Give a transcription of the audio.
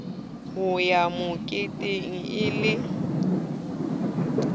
ho ya moketeng e ne